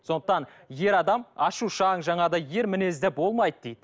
сондықтан ер адам ашушаң жаңағыдай ер мінезді болмайды дейді